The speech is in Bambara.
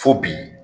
Fo bi